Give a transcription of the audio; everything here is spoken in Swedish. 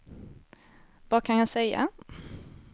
vad kan jag säga